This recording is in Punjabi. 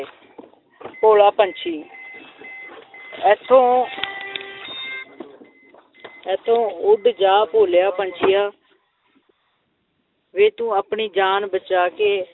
ਭੋਲਾ ਪੰਛੀ ਇੱਥੋਂ ਇੱਥੋਂ ਉੱਡ ਜਾ ਭੋਲਿਆ ਪੰਛੀਆ ਵੇ ਤੂੰ ਆਪਣੀ ਜਾਨ ਬਚਾ ਕੇ